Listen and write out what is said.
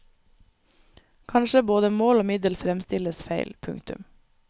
Kanskje både mål og middel fremstilles feil. punktum